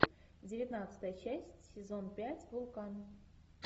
девятнадцатая часть сезон пять вулкан